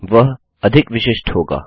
वह अधिक विशिष्ट होगा